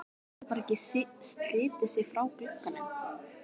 Hann getur bara ekki slitið sig frá glugganum.